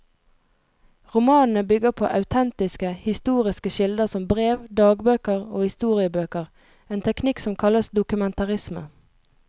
Romanene bygger på autentiske, historiske kilder som brev, dagbøker og historiebøker, en teknikk som kalles dokumentarisme.